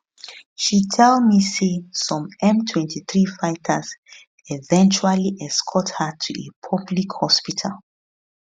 she tell tell me say some m23 fighters eventually escort her to a public hospital